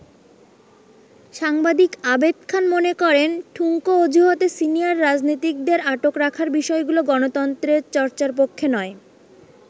সাংবাদিক আবেদ খান মনে করেন, ঠুনকো অজুহাতে সিনিয়র রাজনীতিকদের আটক রাখার বিষয়গুলো গণতন্ত্রের চর্চার পক্ষে নয়।